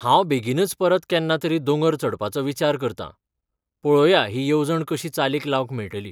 हांव बेगीनच परत केन्ना तरी दोंगर चडपाचो विचार करतां, पळोव्या ही येवजण कशी चालीक लावंक मेळटली.